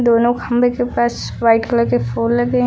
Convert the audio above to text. दोनों खंभे के पास वाइट कलर के फूल लगे है।